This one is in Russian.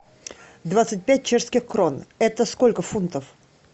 двадцать пять чешских крон это сколько фунтов